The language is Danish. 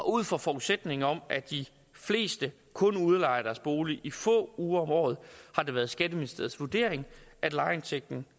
ud fra forudsætningen om at de fleste kun udlejer deres bolig i få uger om året har det været skatteministeriets vurdering at lejeindtægten